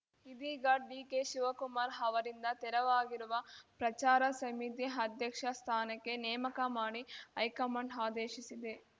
ಇದೀಗ ಡಿಕೆ ಶಿವಕುಮಾರ್‌ ಅವರಿಂದ ತೆರವಾಗಿರುವ ಪ್ರಚಾರ ಸಮಿತಿ ಅಧ್ಯಕ್ಷ ಸ್ಥಾನಕ್ಕೆ ನೇಮಕ ಮಾಡಿ ಹೈಕಮಾಂಡ್‌ ಆದೇಶಿಸಿದೆ